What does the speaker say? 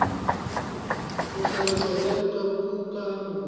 go hlaloswa bjalo ka kukamo